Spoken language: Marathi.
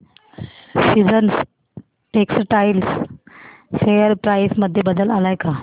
सीजन्स टेक्स्टटाइल शेअर प्राइस मध्ये बदल आलाय का